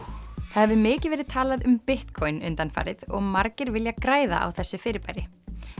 það hefur mikið verið talað um Bitcoin undanfarið og margir vilja græða á þessu fyrirbæri